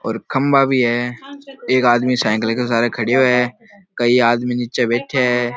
और खम्बा भी है एक आदमी साइकिल के सहारे खड़ो है कई आदमी निचे बैठे है।